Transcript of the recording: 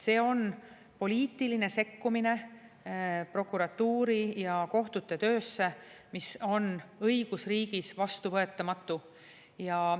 See on poliitiline sekkumine prokuratuuri ja kohtute töösse, mis on õigusriigis vastuvõetamatu.